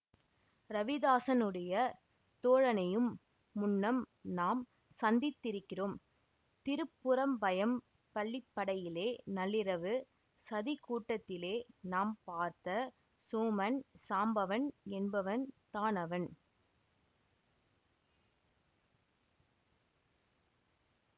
ரவிதாஸனுடைய தோழனையும் முன்னம் நாம் சந்தித்திருக்கிறோம் திருப்புறம்பயம் பள்ளிப்படையிலே நள்ளிரவு சதிக் கூட்டத்திலே நாம் பார்த்த சோமன் சாம்பவன் என்பவன் தான் அவன்